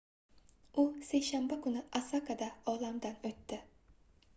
u seshanba kuni osakada olamdan oʻtdi